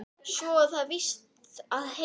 Svo á það víst að heita